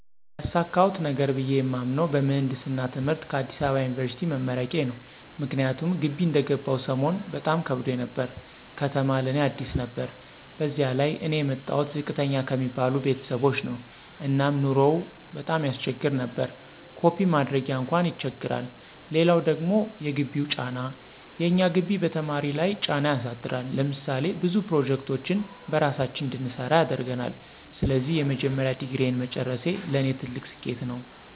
ያሳካሁት ነገር ብየ የማምነው በምህንድስና ትምህርት ከአዲስ አበባ ዩኒበርሲቲ መመረቄ ነው። ምክንያቱም ግቢ እንደገባሁ ሰሞን በጣም ከብዶኝ ነበር፤ ከተማ ለእኔ አዲስ ነበር በዚያ ላይ እኔ የመጣሁት ዝቅተኛ ከሚባሉ ቤተሰቦች ነው እና ኑሮው ቀጣም ያሰቸግር ነበር። ኮፒ ማድረጊያ አንኳን ይቸግራል! ሌላው ደግሞ የግቢው ጫና፦ የእኛ ግቢ በተማሪ ለይ ጫና ያሳድራል። ለምሳሌ ብዙ ፕሮጀክቶችን በራሳችን እንድንሰራ ያደርገናል። ስለዚህ የመጀመሪያ ዲግሪየን መጨረሴ ለኔ ትልቅ ስኬት ነው።